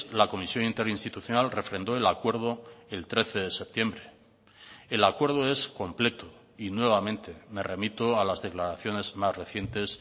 la comisión interinstitucional refrendó el acuerdo el trece de septiembre el acuerdo es completo y nuevamente me remito a las declaraciones más recientes